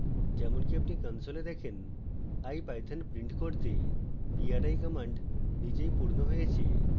যেমনকি আপনি console দেখেন ipython print করতে pri command নিজেই পূর্ণ হয়েছে